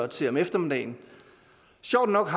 til om eftermiddagen sjovt nok